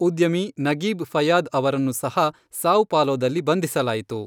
ಉದ್ಯಮಿ Nagib Fayad ಅವರನ್ನು ಸಹ ಸಾವ್ ಪಾಲೊದಲ್ಲಿ ಬಂಧಿಸಲಾಯಿತು.